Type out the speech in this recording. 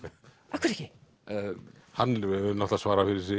af hverju ekki hann náttúrulega svarar fyrir sig